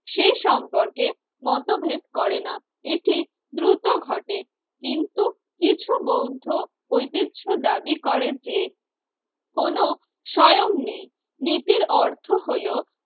এ সম্পর্কে মতভেদ করে না। এটি দ্রুত ঘটে কিন্তু কিছু বৌদ্ধ ঐতিহ্য দাবি করে যে কোন স্বয়ং নেই নীতির অর্থ হলো